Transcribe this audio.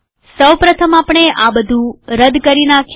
સૌ પ્રથમ આપણે આ બધું કાઢી નાખીએ